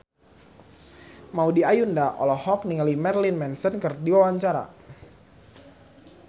Maudy Ayunda olohok ningali Marilyn Manson keur diwawancara